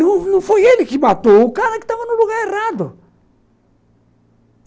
Não não foi ele que matou, o cara que estava no lugar errado.